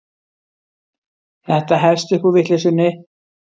Þetta hefst upp úr vitleysunni.